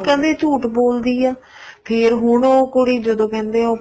ਉਹ ਕਹਿੰਦੇ ਝੂਠ ਬੋਲਦੀ ਏ ਫ਼ੇਰ ਹੁਣ ਉਹ ਕੁੜੀ ਜਦੋਂ ਕਹਿੰਦੇ ਆ